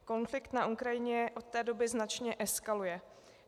Konflikt na Ukrajině od té doby značně eskaluje.